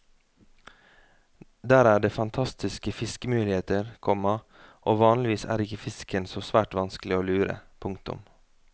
Der er det fantastiske fiskemuligheter, komma og vanligvis er ikke fisken så svært vanskelig å lure. punktum